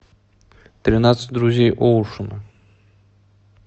тринадцать друзей оушена